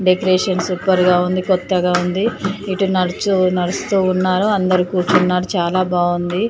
Decoration super గా ఉంది. కొత్తగా ఉంది ఇటు నడుచు నడుస్తూ ఉన్నారు అందరి కూర్చున్నారు చాలా బాగుంది.